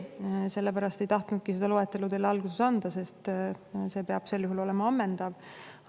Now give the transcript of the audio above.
Sellepärast ma ei tahtnudki seda loetelu teile alguses anda, et see peab olema ammendav.